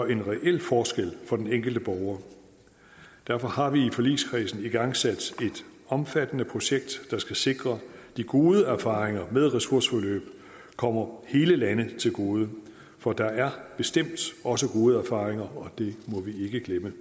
en reel forskel for den enkelte borger derfor har vi i forligskredsen igangsat et omfattende projekt der skal sikre at de gode erfaringer med ressourceforløb kommer hele landet til gode for der er bestemt også gode erfaringer og det må vi ikke glemme